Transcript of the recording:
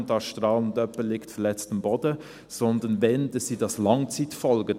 – kommt ein Strahl und jemand liegt verletzt am Boden, sondern wenn schon sind es Langzeitfolgen.